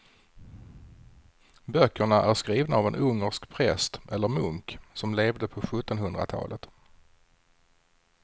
Böckerna är skrivna av en ungersk präst eller munk som levde på sjuttonhundratalet.